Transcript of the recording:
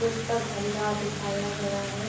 पुस्तक भंडार दिखाया गया है।